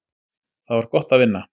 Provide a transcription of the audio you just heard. Það var gott að vinna.